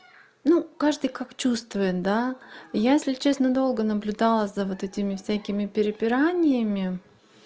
ну каждый как чувствует да я если честно долго наблюдала за вот этими всякими пираньями